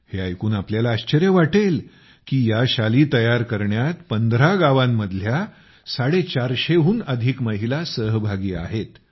हे ऐकून आपल्याला आश्चर्य वाटेल की या शाली तयार करण्यात १५ गावांतील ४५० हून अधिक महिला सहभागी आहेत